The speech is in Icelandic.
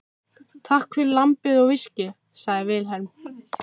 Takk fyrir lambið og viskíið, sagði Vilhelm.